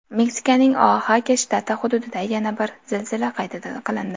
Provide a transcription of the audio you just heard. Meksikaning Oaxaka shtati hududida yana bir zilzila qayd qilindi.